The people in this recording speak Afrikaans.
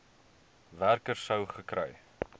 werker sou gekry